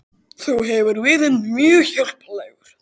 Þú hefur verið mér mjög hjálplegur